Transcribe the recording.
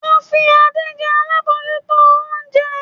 Wọ́n fi Adé jẹ alábòójútó oúnjẹ.